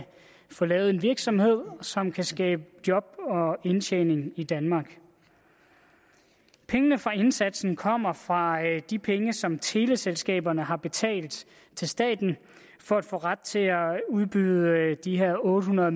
få lavet en virksomhed som kan skabe job og indtjening i danmark pengene fra indsatsen kommer fra de penge som teleselskaberne har betalt til staten for at få ret til at udbyde de her otte hundrede